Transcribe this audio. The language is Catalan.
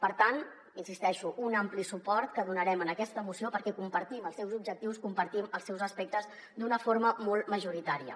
per tant hi insisteixo un ampli suport que donarem en aquesta moció perquè compartim els seus objectius compartim els seus aspectes d’una forma molt majoritària